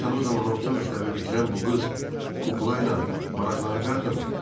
Görəsən o zaman orta məktəbi bitirən bu qız kukla ilə maraqlanacaqdımı?